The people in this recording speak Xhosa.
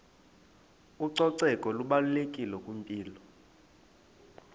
ucoceko lubalulekile kwimpilo